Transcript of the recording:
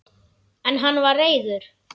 En hann var reiður!